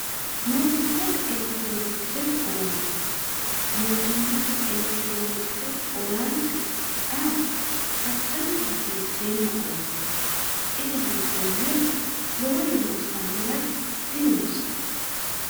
mootummate elekitiroonikisete owaante mootummate elekitiroonikisete owaante a attanka hasiisseenna oonoonni ise hooggoommero lowore loossannoragi dinonsa